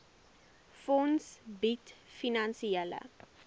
fonds bied finansiële